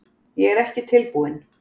Ég er ekki tilbúinn.